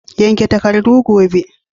Yanke takardu gobe!